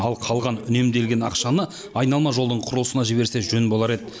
ал қалған үнемделген ақшаны айналма жолдың құрылысына жіберсе жөн болар еді